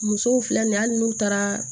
Musow filɛ nin ye hali n'u taara